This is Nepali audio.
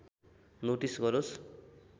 नोटिस गरोस्